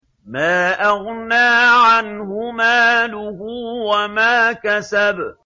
مَا أَغْنَىٰ عَنْهُ مَالُهُ وَمَا كَسَبَ